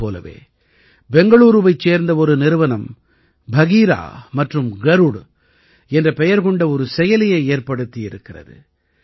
இதைப் போலவே பெங்களூரூவைச் சேர்ந்த ஒரு நிறுவனம் பகீரா மற்றும் கருட் என்ற பெயர் கொண்ட ஒரு செயலியை ஏற்படுத்தியிருக்கிறது